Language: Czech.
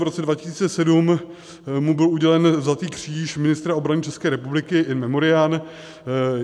V roce 2007 mu byl udělen Zlatý kříž ministra obrany České republiky in memoriam.